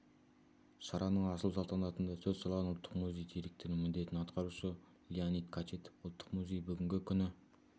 шараның ашылу салтанатында сөз алған ұлттық музей директорының міндетін атқарушы леонид кочетов ұлттық музей бүгінгі күні